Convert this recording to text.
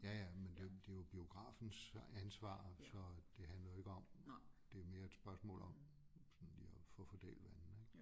Ja ja men det jo det jo biografens ansvar så det handler jo ikke om det er mere et spørgsmål om sådan lige at få fordelt vandene ik